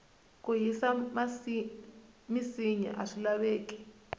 ku hisa minsinya aswi laveki